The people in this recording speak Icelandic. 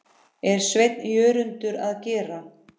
er Sveinn Jörundur að gera?